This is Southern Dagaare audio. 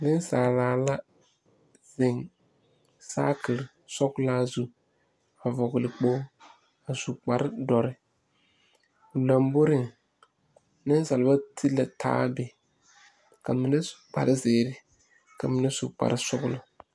Nensaala la zeŋ saakiri sɔglaa zu a vɔgle kpogre a su kparre dɔre o lomboreŋ nensaaleba ti la taa be ka mine su kpare zeere ka ba mine su kparre sɔglɔ.